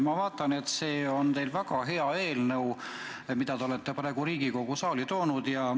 Ma vaatan, et see on teil väga hea eelnõu, mille te olete praegu Riigikogu saali toonud.